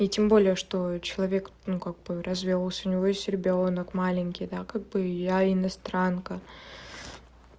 и тем более что человек ну как бы развёлся у него есть ребёнок маленький да как бы я иностранка